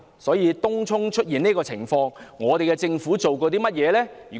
對於東涌出現的這個情況，政府有何行動呢？